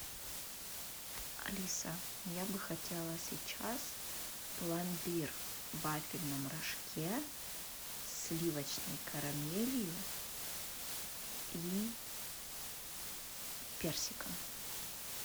алиса я бы хотела сейчас пломбир в вафельном рожке с сливочной карамелью и персиком